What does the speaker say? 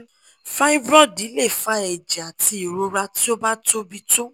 fibroid le fa ẹjẹ ati irora ti o ba tobi to